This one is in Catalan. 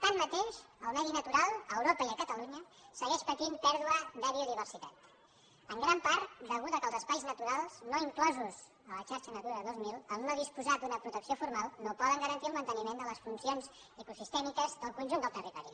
tanmateix el medi natural a europa i a catalunya segueix patint pèrdua de biodiversitat en gran part a causa del fet que els espais naturals no inclosos a la xarxa natura dos mil al no disposar d’una protecció formal no poden garantir el manteniment de les funcions ecosistèmiques del conjunt del territori